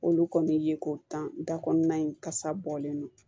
Olu kɔni ye ko tan da kɔnɔna in kasa bɔlen don